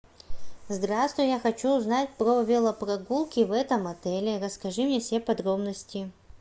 здравствуй я хочу узнать про велопрогулки в этом отеле расскажи мне все подробности